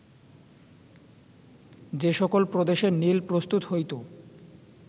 যে সকল প্রদেশে নীল প্রস্তুত হইত